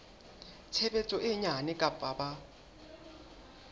tshebetso e nyane kapa ba